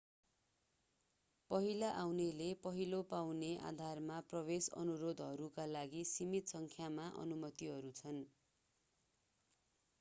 पहिला आउनेले पहिला पाउने आधारमा प्रवेश अनुरोधहरूका लागि सीमित सङ्ख्यामा अनुमतिहरू छन्